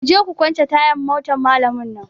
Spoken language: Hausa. Kuje ku kwance tayan motan malamin nan!